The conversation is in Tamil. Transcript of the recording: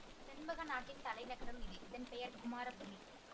செண்பக நாட்டின் தலைநகரம் இது இதன் பெயர் குமாரபுரி